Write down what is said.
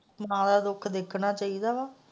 ਮਾਂ ਦਾ ਦੁੱਖ ਦੇਖਣਾ ਚਾਹੀਦਾ ਵਾ।